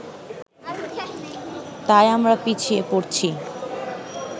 তাই আমরা পিছিয়ে পড়ছি